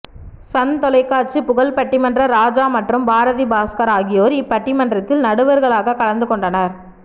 Sun தொலைக்காட்சி புகழ் பட்டிமன்ற ராஜா மற்றும் பாரதி பாஸ்கர் ஆகியோர் இப்பட்டிமன்றத்தில் நடுவர்களாக கலந்துகொண்டனர்